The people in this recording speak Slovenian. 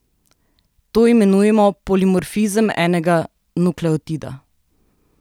To imenujemo polimorfizem enega nukleotida.